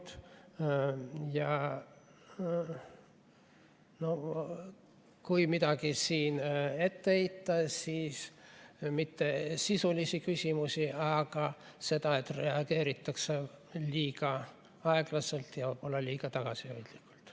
Kui siin oleks midagi ette heita, siis mitte sisulisi küsimusi, vaid seda, et reageeritakse liiga aeglaselt ja võib-olla ka liiga tagasihoidlikult.